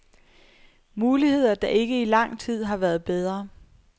Muligheder der ikke i lang tid har været bedre.